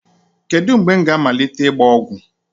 Kedu mgbe m ga-amalite ịgba ọgwụ?